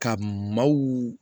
Ka maaw